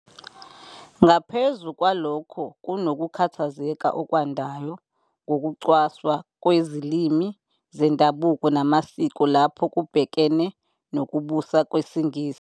Ngaphezu kwalokho, kunokukhathazeka okwandayo ngokucwaswa kwezilimi zendabuko namasiko lapho kubhekene nokubusa kwesiNgisi.